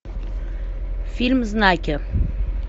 фильм знаки